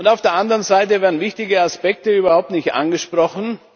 Auf der anderen Seite werden wichtige Aspekte überhaupt nicht angesprochen.